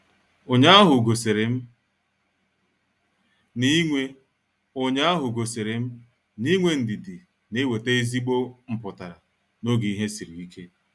Ụnyaahụ gosirim na-inwe Ụnyaahụ gosirim na-inwe ndidi na-enweta ezigbo mputara n'oge ihe sịrị ike.